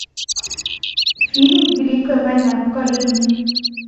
фильм великая война покажи мне